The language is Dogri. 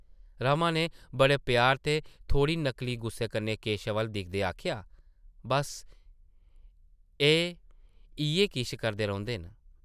रमा नै बड़े प्यार ते थोह्ड़े नकली गुस्से कन्नै केशव अʼल्ल दिखदे आखेआ, ‘‘बस्स, एह् इʼयै किश करदे रौंह्दे न ।’’